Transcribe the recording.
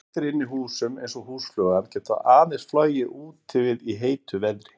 Skordýr inni í húsum, eins og húsflugan, geta aðeins flogið úti við í heitu veðri.